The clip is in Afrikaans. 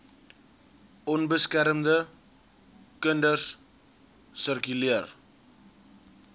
onbeskermde kinders sirkuleer